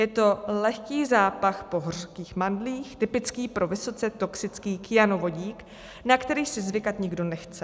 Je to lehký zápach po hořkých mandlích typický pro vysoce toxický kyanovodík, na který si zvykat nikdo nechce.